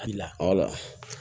A bila